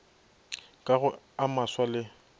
ka go a maswa le